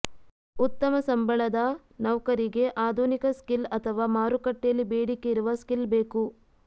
ಉತ್ತಮ ಸಂಭಳದ ನೌಕರಿಗೆ ಆಧುನಿಕ ಸ್ಕಿಲ್ಅಥವಾ ಮಾರುಕಟ್ಟೆಯಲ್ಲಿ ಬೇಡಿಕೆ ಇರುವ ಸ್ಕಿಲ್ ಬೇಕು